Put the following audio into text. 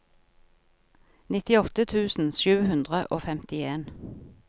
nittiåtte tusen sju hundre og femtien